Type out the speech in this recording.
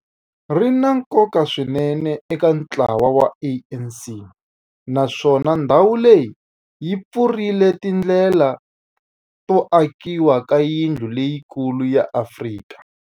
Ri na nkoka swinene eka ntlawa wa ANC, naswona ndhawu leyi yi pfurile tindlela to akiwa ka yindlu leyikulu ya Afrika.